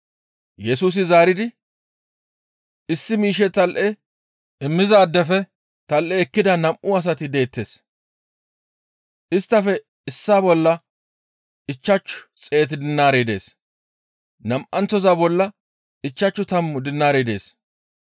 Yesusi zaaridi, «Issi miishshe tal7e immizaadefe tal7e ekkida nam7u asati deettes; isttafe issaa bolla ichchashu xeet dinaarey dees; nam7anththoza bolla ichchashu tammu dinaarey dees.